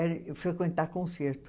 frequentar concertos.